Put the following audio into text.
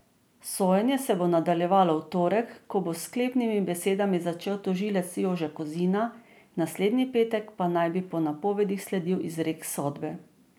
Sojenje se bo nadaljevalo v torek, ko bo s sklepnimi besedami začel tožilec Jože Kozina, naslednji petek pa naj bi po napovedih sledil izrek sodbe.